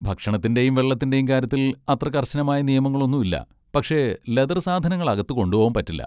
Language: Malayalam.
ഭക്ഷണത്തിൻ്റെയും വെള്ളത്തിൻ്റെയും കാര്യത്തിൽ അത്ര കർശനമായ നിയമങ്ങളൊന്നും ഇല്ല, പക്ഷെ ലെതർ സാധനങ്ങൾ അകത്ത് കൊണ്ടുപോകാൻ പറ്റില്ല.